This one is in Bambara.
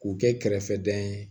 K'u kɛ kɛrɛfɛdɛn ye